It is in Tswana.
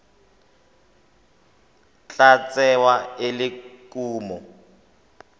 tla tsewa e le kumo